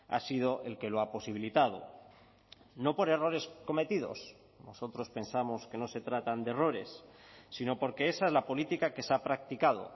ha sido el que lo ha posibilitado no por errores cometidos nosotros pensamos que no se tratan de errores sino porque esa es la política que se ha practicado